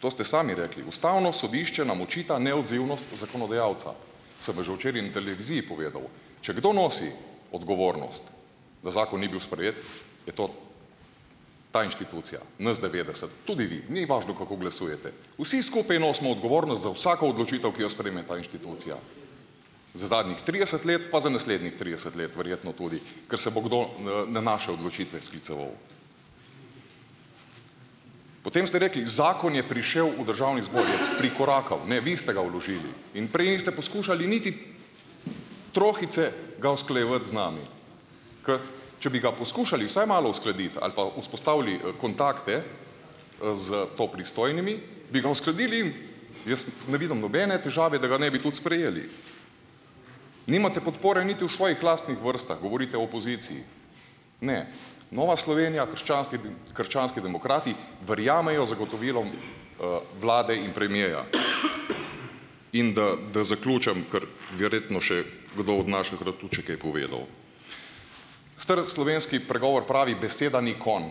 To ste sami rekli. Ustavno sodišče nam očita neodzivnost zakonodajalca. Sem pa že včeraj na televiziji povedal, če kdo nosi odgovornost, da zakon ni bil sprejet, je to ta inštitucija, nas devetdeset, tudi vi. Ni važno, kako glasujete. Vsi skupaj nosimo odgovornost za vsako odločitev, ki jo sprejme ta inštitucija. Za zadnjih trideset let pa za naslednjih trideset let verjetno tudi, kar se bo kdo, na naše odločitve skliceval. Potem ste rekli, zakon je prišel v državni zbor. Je prikorakal. Ne, vi ste ga vložili in prej niste poskušali niti trohice ga usklajevati z nami, ker če bi ga poskušali vsaj malo uskladiti ali pa vzpostavili, kontakte, za to pristojnimi, bi ga uskladili in jaz ne vidim nobene težave, da ga ne bi tudi sprejeli. Nimate podpore niti v svojih lastnih vrstah, govorite o opoziciji. Ne. Nova Slovenija, krščanski demokrati, verjamejo zagotovilom, vlade in premiera. In da, da zaključim, kar verjetno še kdo od naših rad tudi še kaj povedal. Star slovenski pregovor pravi: "Beseda ni konj."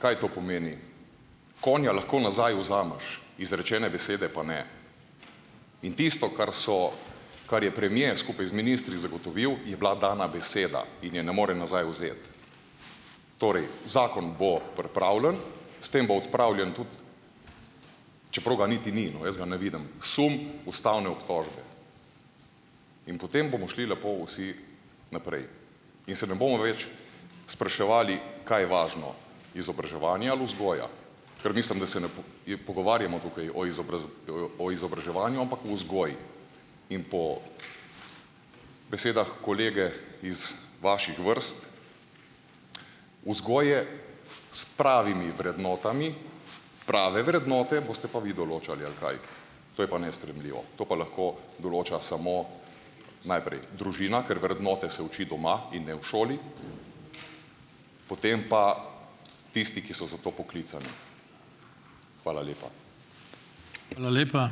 Kaj to pomeni? Konja lahko nazaj vzameš, izrečene besede pa ne. In tisto, kar so, kar je premier skupaj z ministri zagotovil, je bila dana beseda in je ne more nazaj vzeti. Torej, zakon bo pripravljen, s tem bo odpravljen tudi, čeprav ga niti ni, no, jaz ga ne vidim, sum ustavne obtožbe. In potem bomo šli lepo vsi naprej in se ne bomo več spraševali, kaj je važno, izobraževanje ali vzgoja, kar mislim, da se ne je pogovarjamo tukaj o o izobraževanju, ampak o vzgoji. In po besedah kolege iz vaših vrst, vzgoje s pravimi vrednotami, prave vrednote boste pa vi določali ali kaj. To je pa nesprejemljivo, to pa lahko določa samo najprej družina, ker vrednote se uči doma in ne v šoli, potem pa tisti, ki so za to poklicani . Hvala lepa.